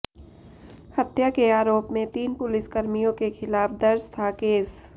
हत्या के आरोप में तीन पुलिसकर्मियों के खिलाफ दर्ज था केस